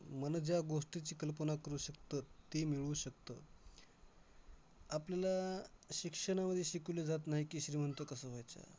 मन ज्या गोष्टीची कल्पना करू शकतं, ते मिळवू शकतं. आपल्याला शिक्षणामध्ये शिकवलं जात नाही की, श्रीमंत कसं व्हायचंय.